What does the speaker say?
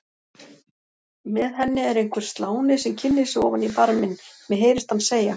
Með henni er einhver sláni sem kynnir sig ofan í barminn, mér heyrist hann segja